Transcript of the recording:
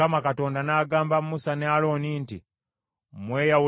Mukama Katonda n’agamba Musa ne Alooni nti,